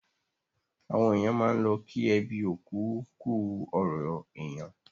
Àwọn èèyàn máà n lọ kí ẹbí òkú kú ọrọ̀ èèyàn